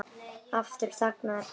Aftur þagnaði pabbi.